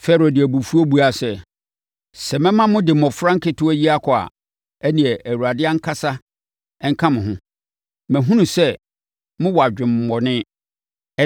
Farao de abufuo buaa sɛ, “Sɛ mɛma mode mmɔfra nketewa yi kɔ a, ɛnneɛ Awurade ankasa nka mo ho. Mahunu sɛ mowɔ adwemmɔne.